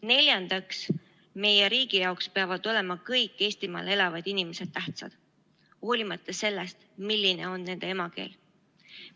Neljandaks, meie riigi jaoks peavad olema kõik Eestimaal elavad inimesed tähtsad, hoolimata sellest, milline on nende emakeel.